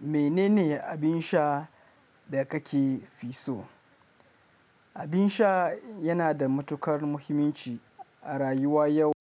Menene abin sha da kake fi so? Abin sha yana da matuƙar muhimmanci a rayuwa yau